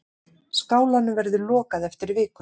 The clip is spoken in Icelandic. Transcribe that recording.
Skálanum verður lokað eftir viku.